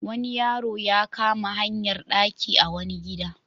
Wani yaro ya kama hayar ɗaki a wani gida.